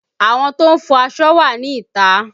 Àwọn tó ń fọ aṣọ wà ní ìta